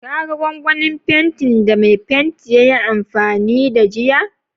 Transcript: Ka ga gwangwanin fenti da mai fenti ya Yi amfani da jiya?